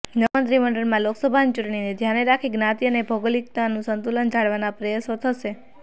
નવા મંત્રીમંડળમાં લોકસભાની ચુંટણીને ધ્યાને રાખી જ્ઞાતિ અને ભૌગોલિકનું સંતુલન જાળવવાના પ્રયાસો થશે